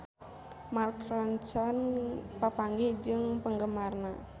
Mark Ronson papanggih jeung penggemarna